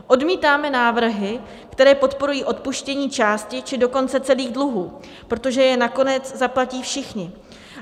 Odmítáme návrhy, které podporují odpuštění části, či dokonce celých dluhů, protože je nakonec zaplatí všichni.